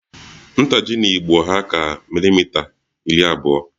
Ntaji 'n'igbo hà ka milimita iri abụọ